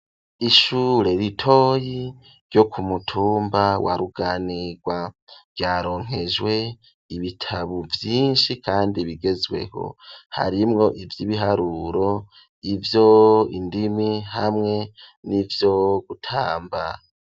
Ishure ritoyi ryo ku mutumba wa Ruganirwa ,ryaronkejwe ibitabo vyinshi kandi bigezweho, harimwo ivy'ibiharuro, ivyo indimi hamwe n'ivyo gutamba.